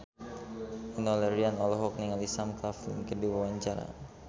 Enno Lerian olohok ningali Sam Claflin keur diwawancara